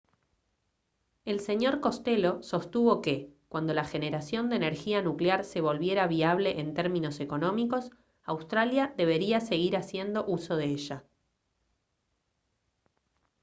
el sr costello sostuvo que cuando la generación de energía nuclear se volviera viable en términos económicos australia debería seguir haciendo uso de ella